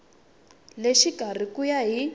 le xikarhi ku ya hi